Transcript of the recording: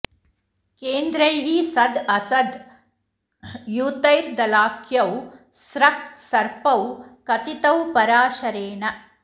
केन्द्रैः सद् असद् युतैर्दलाख्यौ स्रक् सर्पौ कथितौ पराशरेण